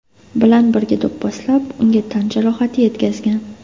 bilan birga do‘pposlab, unga tan jarohati yetkazgan.